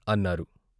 " అన్నారు.